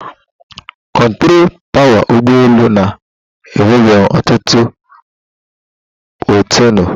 Kontrọ tawa ụgbọ elu na-enwebu ọtụtụ bọtịnụ.